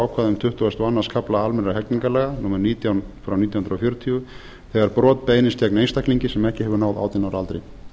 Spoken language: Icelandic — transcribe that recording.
ákvæðum tuttugasta og öðrum kafla almennra hegningarlaga númer nítján nítján hundruð fjörutíu þegar brot beinist gegn einstaklingi sem ekki hefur náð átján ára aldri